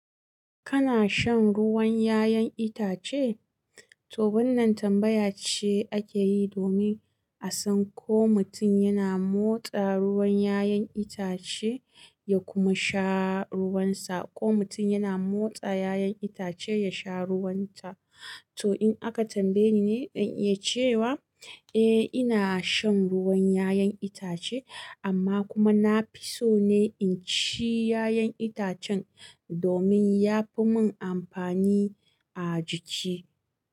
Kana shan ruwan ƴaƴan itace? To wannan tambaya ce akeyi domin a san ko mutum yana motsa ruwan ƴaƴan itace ya kuma sha ruwansa, ko mutum yana motsa ƴaƴan itace ya sha ruwanta. To in aka tambayeni ni, zan iya cewa, eh ina shan ruwan ƴaƴan itace amma kuma nafi so ne inci ƴaƴan itacen. Domin yafi mun amfani a jiki.